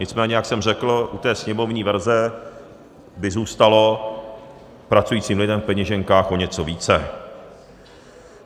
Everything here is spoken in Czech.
Nicméně jak jsem řekl, u té sněmovní verze by zůstalo pracujícím lidem v peněženkách o něco více.